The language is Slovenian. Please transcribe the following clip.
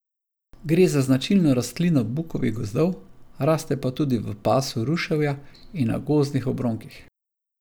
Gre za značilno rastlino bukovih gozdov, raste pa tudi v pasu ruševja in na gozdnih obronkih.